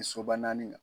Soba naani kan